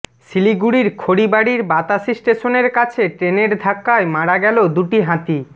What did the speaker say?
শিলিগুড়ির খড়িবাড়ির বাতাসি স্টেশনের কাছে ট্রেনের ধাক্কায় মারা গেল দুটি হাতি